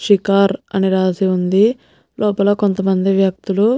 షికార్ అని రాసి ఉంది లోపల కొంతమంది వ్యక్తులు --